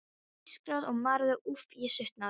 Það ískraði og marraði, úff, ég svitnaði.